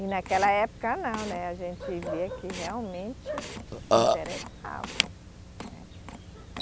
E naquela época não, né, a gente via que realmente se interessavam, né.